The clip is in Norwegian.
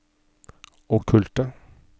okkulte